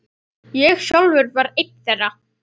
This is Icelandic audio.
Ég sjálfur var einn þeirra.